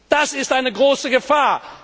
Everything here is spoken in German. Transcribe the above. Das ist eine große Gefahr.